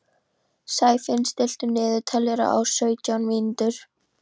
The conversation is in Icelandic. Sæfinna, stilltu niðurteljara á sautján mínútur.